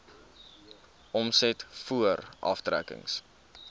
omset voor aftrekkings